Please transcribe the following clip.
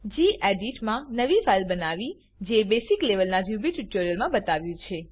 gedit મા નવી file બનાવવી જે બસિક લેવલ ના રૂબી ટ્યુટોરિયલ્સ મા બતાવ્યું